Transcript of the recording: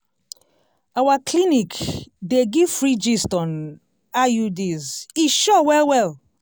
our clinic dey give free gist on iuds e sure well well!